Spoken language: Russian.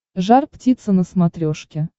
жар птица на смотрешке